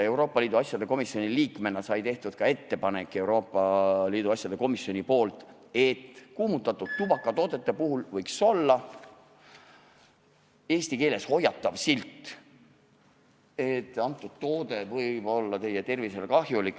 Euroopa Liidu asjade komisjoni liikmena sai Euroopa Liidu asjade komisjoni nimel tehtud ettepanek, et kuumutatud tubakatoodetel võiks olla eesti keeles hoiatav silt, et toode võib olla tervisele kahjulik.